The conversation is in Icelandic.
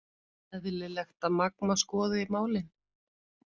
Eðlilegt að Magma skoði málin